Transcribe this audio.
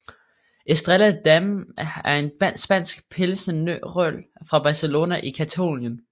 Estrella Damm er en spansk pilsnerøl fra Barcelona i Catalonien